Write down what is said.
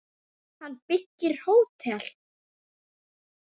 Hann byggir hótel.